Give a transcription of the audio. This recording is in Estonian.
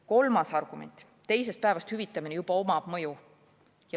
Kolmas argument: teisest päevast hüvitamine juba avaldab mõju.